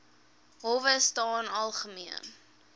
howe staan algemeen